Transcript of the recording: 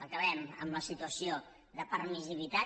acabem amb la situació de permissivitat